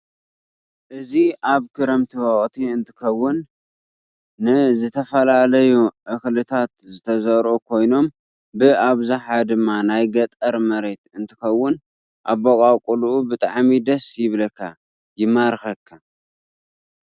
እዚ አብ ክረምቲ ወቅቲ እንትከውን ነዝተፈላለዩ እክሊታት ዝተዘርኡ ኾይኖም ብአብዛሐ ድማ ናይ ገጠር መሬት እንትከውን አባቃቁሉ ብጣዓሚ ደሰ ይብለካ ይማሪከካ።